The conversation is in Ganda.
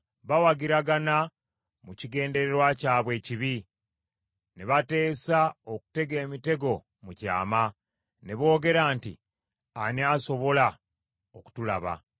Bawagiragana mu kigendererwa kyabwe ekibi ne bateesa okutega emitego mu kyama; ne boogera nti, “Ani asobola okutulaba?”